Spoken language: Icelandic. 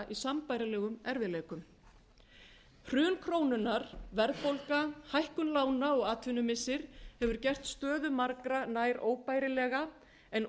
sambærilegum erfiðleikum hrun krónunnar verðbólga hækkun lána og atvinnumissir hefur gert stöðu margra nær óbærilega en